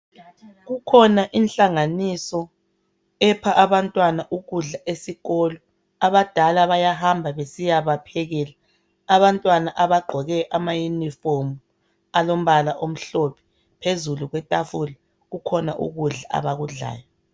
Kukhona inhlanganiso epha abantwana ukudla esikolo, abadala bayahamba besiyaphekela , abantwana abagqoke amayunifomu alombala omhlophe , phezulu kwetafula kukhona ukudla abakudlayo.